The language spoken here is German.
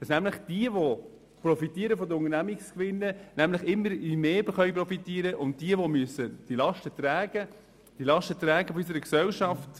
Dabei können nämlich diejenigen, die Unternehmensgewinne erhalten, immer mehr profitieren und diejenigen, die nur Löhne haben, bezahlen immer die Lasten unserer Gesellschaft.